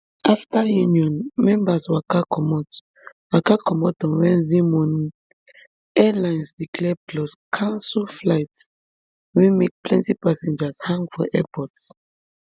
afta union members waka comot waka comot on wednesday morning airlines delay plus cancel flights wey make plenti passengers hang for airports